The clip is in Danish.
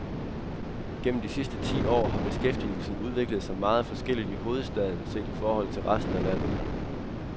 Gennem de sidste ti år har beskæftigelsen udviklet sig meget forskelligt i hovedstaden set i forhold til resten af landet.